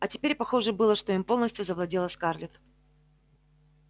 а теперь похоже было что им полностью завладела скарлетт